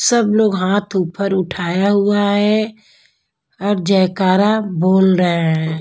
सब लोग हाथ ऊपर उठाया हुआ है और जयकारा बोल रहे हैं।